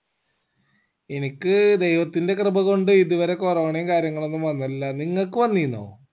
എനിക്ക് ദൈവത്തിന്റെ കൃപ കൊണ്ട്ഇതുവരെ corona യും കാര്യങ്ങളൊന്നും വന്നില്ല നിങ്ങക്ക് വന്നീനോ